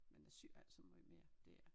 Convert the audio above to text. Men jeg syer ikke så måj mere det er